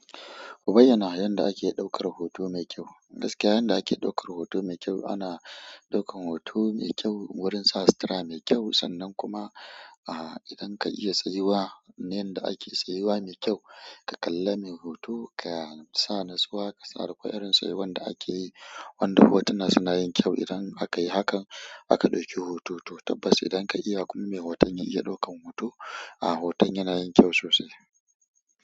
Ku bayyana yadda ake ɗaukar hoto mai kyau. Gaskiya yanda ake ɗaukar hoto me kyau ana ɗaukan hoto me kyau wurin sa sutura me kyau, sannan kuma idan ka iya tsayuwa na yanda ake tsayuwa me kyau ka kalla me hoto ka sa natsuwa ka sa requiring se wanda ake yi wanda hotuna suna yin kyau idan aka yi hakan aka ɗauki hoto. Tabbas idan ka iya kuma mai hoton ya iya ɗaukan hoto, ah hoton yana yin kyau sosai.